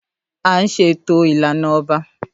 À ńṣe ètò ìlànà ọba.